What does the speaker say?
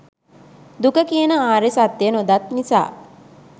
දුක කියන ආර්ය සත්‍යය නොදත් නිසා,